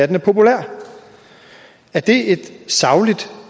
den er populær er det et sagligt